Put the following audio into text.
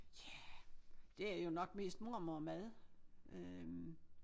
Ja det er jo nok mest mormormad øh